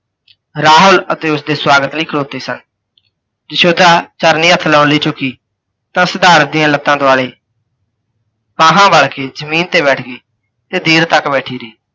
ਰਾਹੁਲ ਉੱਥੇ ਓਸਦੇ ਸਵਾਗਤ ਲਈ ਖਲੋਤੇ ਸਨ। ਯਸ਼ੋਧਰਾ ਚਰਨੀ ਹੱਥ ਲਾਉਣ ਲਈ ਝੁੱਕੀ, ਤਾਂ ਸਿਧਾਰਥ ਦੀਆਂ ਲੱਤਾਂ ਦੁਆਲੇ ਬਲ ਕੇ ਜਮੀਨ ਤੇ ਬੈਠ ਗਈ, ਤੇ ਦੇਰ ਤੱਕ ਬੈਠੀ ਰਹੀ।